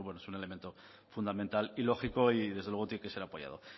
pues bueno es un elemento fundamental y lógico y desde luego tiene que ser apoyado